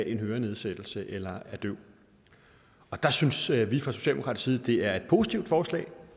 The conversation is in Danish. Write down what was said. en hørenedsættelse eller er døv der synes vi fra socialdemokratisk side det er et positivt forslag